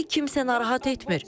Bizi kimsə narahat etmir.